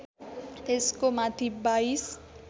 त्यसको माथि बाइस